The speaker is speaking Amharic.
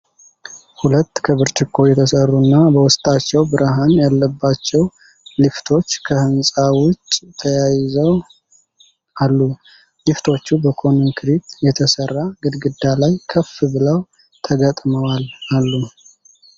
ሁለት ከብርጭቆ የተሠሩ እና በውስጣቸው ብርሃን ያለባቸው ሊፍቶች ከሕንፃ ውጭ ተያይዘው አሉ። ሊፍቶቹ በኮንክሪት የተሠራ ግድግዳ ላይ ከፍ ብለው ተገጥመዋል አሉ።